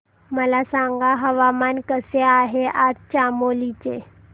मला सांगा हवामान कसे आहे आज चामोली चे